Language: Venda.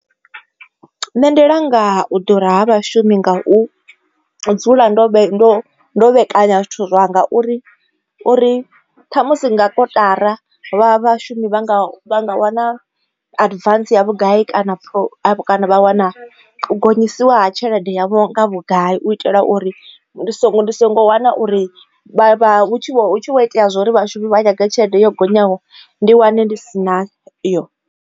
Nṋe ndi langa u ḓura ha vhashumi nga u dzula ndo ndo ndo vhe kanya zwithu zwanga uri uri ṱhamusi nga kotara vha vhashumi vha nga wana advance ya vhugai kana vha wana gonyisiwa ha tshelede yavho nga vhugai u itela uri ndi so ndi songo wana uri hu tshi vho itea zwa uri vhashumi vha wane tshelede yo gonyaho ndi wane ndi si na yo.